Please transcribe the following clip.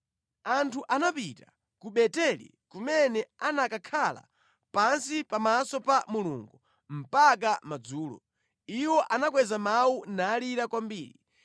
Anthu anapita ku Beteli kumene anakakhala pansi pamaso pa Mulungu mpaka madzulo. Iwo anakweza mawu nalira kwambiri.